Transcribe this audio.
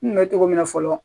N kun bɛ cogo min na fɔlɔ